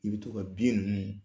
I be to ka ninnu